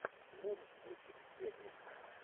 можешь включить пеплум